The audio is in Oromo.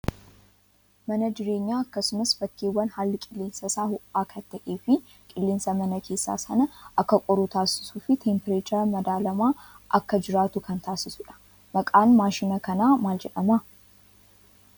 Mana jireenyaa akkasumas bakkeewwan haalli qilleensaa isaa ho'aa kan ta'ee fi qilleensa mana keessaa sana akka qorru taasisuu fi teempireechara madaalamaan akka jiraatu kan taasisudha. Maqaan maashina kanaa maal jedhamaa?